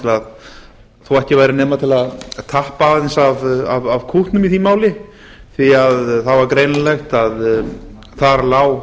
þó ekki væri nema til að tappa aðeins af kútnum í því máli því að það var greinilegt að þar lá